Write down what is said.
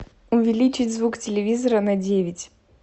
увеличить звук телевизора на девять